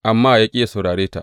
Amma ya ƙi yă saurare ta.